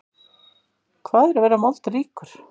Hvað er að vera moldríkur?